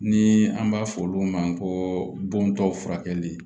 Ni an b'a fɔ olu ma ko bontɔ furakɛli